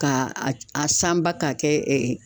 K'a a sanba k'a kɛ